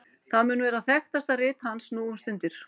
það mun vera þekktasta rit hans nú um stundir